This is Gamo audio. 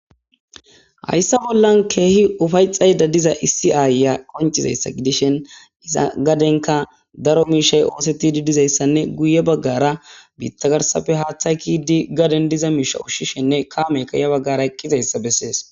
Hayssa bollan keehi ufayxayda diza issi aaya qoncizayssa gidishen iza gadenka daro miishay ooseti didizayssanne guye baggara biittagarsafe haaththay kidi gaden diza miisha ushshishenne kaameykaya baggara eqqizayssa bessees